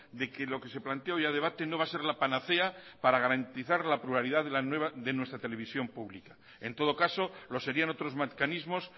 que lo que se plantea hoy a debate no va a ser la panacea para garantizar la pluralidad de nuestra televisión pública en otro caso lo serían otros mecanismos